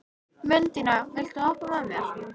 Mundína, viltu hoppa með mér?